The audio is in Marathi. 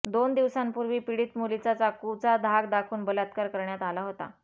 दोन दिवसांपूर्वी पीडित मुलीचा चाकूचा धाक दाखवून बलात्कार करण्यात आला होता